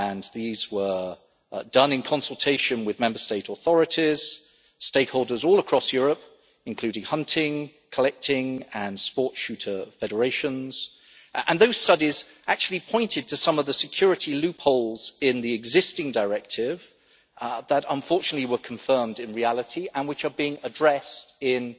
These were done in consultation with Member State authorities and stakeholders all across Europe, including hunting, collecting and sport shooter federations. Those studies actually pointed to some of the security loopholes in the existing Directive which, unfortunately, were confirmed in reality and which are being addressed